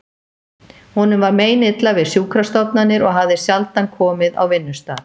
Honum var meinilla við sjúkrastofnanir og hafði sjaldan komið á vinnustað